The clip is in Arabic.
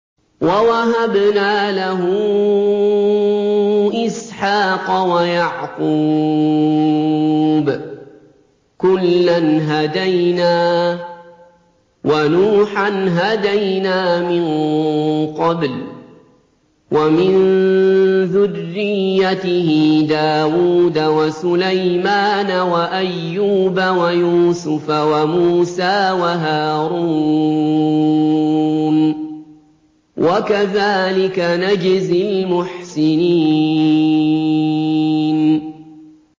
وَوَهَبْنَا لَهُ إِسْحَاقَ وَيَعْقُوبَ ۚ كُلًّا هَدَيْنَا ۚ وَنُوحًا هَدَيْنَا مِن قَبْلُ ۖ وَمِن ذُرِّيَّتِهِ دَاوُودَ وَسُلَيْمَانَ وَأَيُّوبَ وَيُوسُفَ وَمُوسَىٰ وَهَارُونَ ۚ وَكَذَٰلِكَ نَجْزِي الْمُحْسِنِينَ